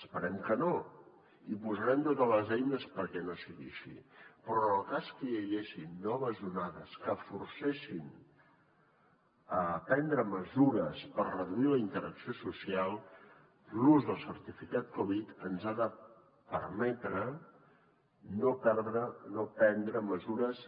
esperem que no i hi posarem totes les eines perquè no sigui així però en el cas que hi haguessin noves onades que forcessin a prendre mesures per reduir la interacció social l’ús del certificat covid ens ha de permetre no prendre mesures